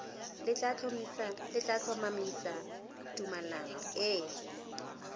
le tla tlhomamisa tumalano e